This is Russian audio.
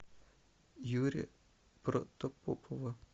юрия протопопова